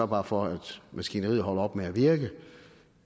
bare for at maskineriet holder op med at virke